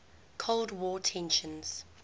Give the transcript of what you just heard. cold war tensions